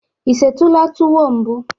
Ị setụla tuwo mbụ?